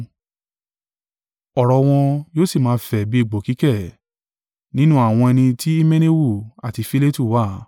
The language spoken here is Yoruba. Ọ̀rọ̀ wọn yóò sì máa fẹ́ bí egbò kíkẹ̀; nínú àwọn ẹni tí Himeneu àti Filetu wà;